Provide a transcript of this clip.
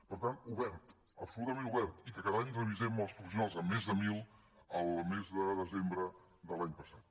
per tant obert absolutament obert i que cada any revisem amb els professionals amb més de mil el mes de desembre de l’any passat